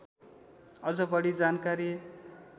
अझ बढी जानकारी